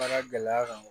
Baara gɛlɛya kan